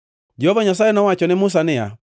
Jehova Nyasaye nowacho ne Musa niya,